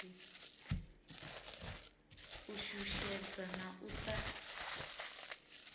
u shushedzwa na u sa